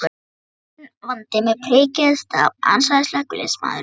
Enginn vandi með priki eða staf, ansaði slökkviliðsmaðurinn.